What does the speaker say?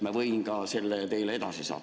Ma võin selle teile edasi saata.